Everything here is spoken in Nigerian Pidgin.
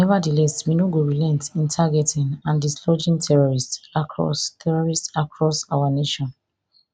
nevatheless we no go relent in targeting and dislodging terrorist across terrorist across our nation